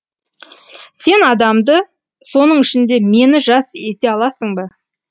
сен адамды соның ішінде мені жас ете аласың ба